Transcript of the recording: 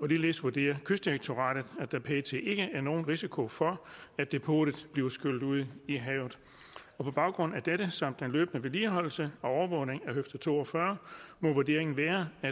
og ligeledes vurderer kystdirektoratet at der pt ikke er nogen risiko for at depotet bliver skyllet ud i havet på baggrund af dette samt løbende vedligeholdelse og overvågning af høfde to og fyrre må vurderingen være at